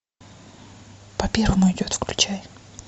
по первому идет включай